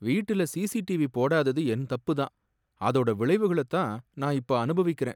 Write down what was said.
வீட்டுல சிசிடிவி போடாதது என் தப்புதான், அதோட விளைவுகளைத்தான் நான் இப்போ அனுபவிக்கிறேன்.